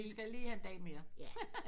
De skal lige have en dag mere